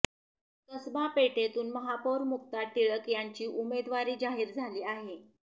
कसबा पेठेतून महापौर मुक्ता टिळक यांची उमेदवारी जाहीर झाली आहे